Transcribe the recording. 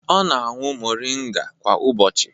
Ọ na-aṅụ moringa kwa ụbọchị